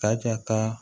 Ta ka taa